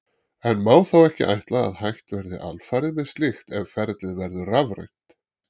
En má þá ekki ætla að hætt verði alfarið með slíkt ef ferlið verður rafrænt?